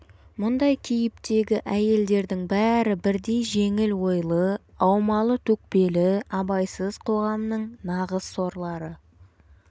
мұндай кейіптегі әйелдердің бәрі бірдей жеңіл ойлы аумалы-төкпелі абайсыз қоғамның нағыз сорлары